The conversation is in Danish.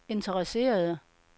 interesserede